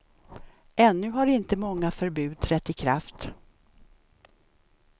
Ännu har inte många förbud trätt i kraft.